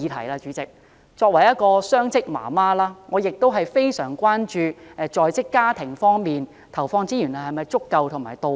我作為雙職母親，非常關注政府就在職家庭方面投放的資源是否足夠和到位。